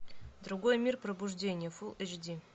другой мир пробуждение фул эйч ди